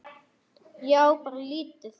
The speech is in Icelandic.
Ég á bara lítið.